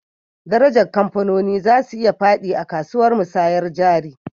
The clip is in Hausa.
Darajar kamfanoni za su iya fadi a kasuwan musayyar jari